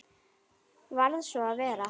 Varð svo að vera.